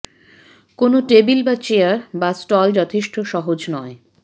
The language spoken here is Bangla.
কোন টেবিল বা চেয়ার বা স্টল যথেষ্ট সহজ নয়